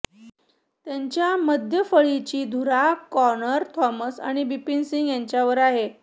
त्यांच्या मध्य फळीची धुरा कॉनर थॉमस आणि बिपीन सिंग यांच्यावर आहे